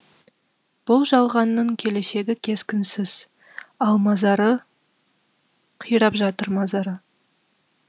бұл жалғанның келешегі кескінсіз ал мазары қирап жатыр мазары